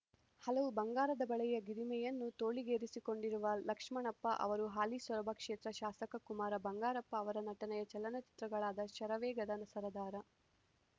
ಹಲವು ಬಂಗಾರದ ಬಳೆಯ ಗರಿಮೆಯನ್ನು ತೋಳಿಗೇರಿಸಿಕೊಂಡಿರುವ ಲಕ್ಷ್ಮಣಪ್ಪ ಅವರು ಹಾಲಿ ಸೊರಬ ಕ್ಷೇತ್ರ ಶಾಸಕ ಕುಮಾರ ಬಂಗಾರಪ್ಪ ಅವರ ನಟನೆಯ ಚಲನಚಿತ್ರಗಳಾದ ಶರವೇಗದ ಸರದಾರ